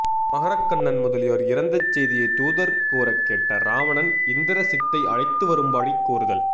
மகரக் கண்ணன் முதலியோர் இறந்த செய்தியைத் தூதர் கூறக் கேட்ட இராவணன் இந்திரசித்தை அழைத்து வரும்படி கூறுதல்